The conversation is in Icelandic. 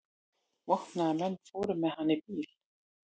Vopnaðir menn fóru með hann í bíl.